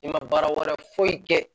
I ma baara wɛrɛ foyi kɛ